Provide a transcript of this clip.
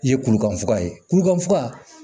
I ye kurukan foka ye kulukan foka